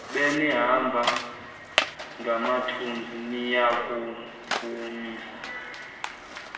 benihamba ngamathunzi niyokuvumisa